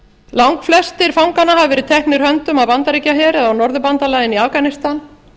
langflestir fanganna hafa verið teknir höndum af bandaríkjaher eða af norðurbandalaginu í afganistan